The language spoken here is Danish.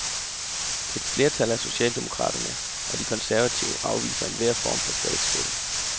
Et flertal af socialdemokraterne og de konservative afviser enhver form for statsstøtte.